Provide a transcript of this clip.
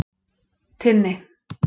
Tinni